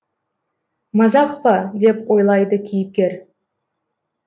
мазақ па деп ойлайды кейіпкер